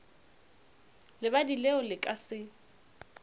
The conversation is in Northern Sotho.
lebadi leo le ka se